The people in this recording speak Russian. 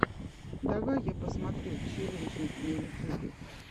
давай я посмотрю челленджи на ютюбе